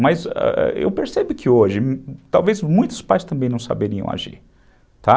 Mas, ãh, eu percebo que hoje, talvez muitos pais também não saberiam agir, tá.